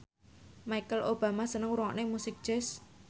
Michelle Obama seneng ngrungokne musik jazz